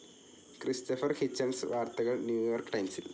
Christopher Hitchens വാർത്തകൾ New York ടൈംസിൽ